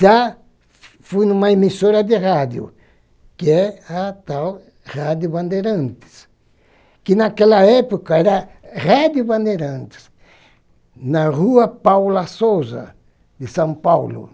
Já fui em uma emissora de rádio, que é a tal Rádio Bandeirantes, que naquela época era Rede Bandeirantes, na Rua Paula Sousa, de São Paulo.